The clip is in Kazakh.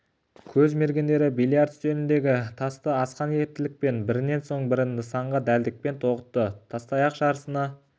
көз мергендері бильярд үстеліндегі тасты асқан ептілікпен бірінен соң бірін нысанаға дәлдікпен тоғытты тастаяқ жарысына